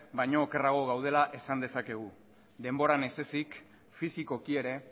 baino okerrago gaudela esan dezakegu denboran ez ezik fisikoki ere